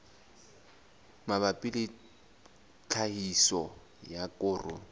mabapi le tlhahiso ya koro